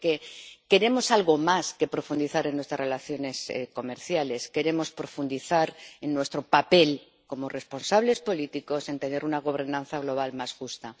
Porque queremos algo más que profundizar en nuestras relaciones comerciales, queremos profundizar en nuestro papel como responsables políticos para tener una gobernanza global más justa.